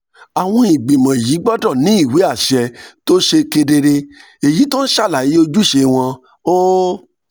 àwọn ìgbìmọ̀ yìí gbọ́dọ̀ ní ìwé àṣẹ tó ṣe kedere tó ń ṣàlàyé ojúṣe wọn ó